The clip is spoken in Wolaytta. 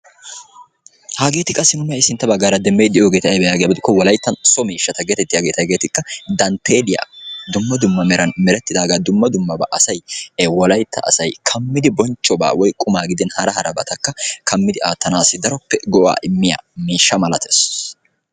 Hageeti qassi nuuni sintta bagaara be'iyoogeeti abatee giiko wolayttan so miishata hegeetikka danteeliya dumma dumma baa asay klammidi aatanawu maadiya miishsha malatees.